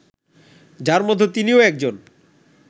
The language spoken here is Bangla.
যার মধ্যে তিনিও একজন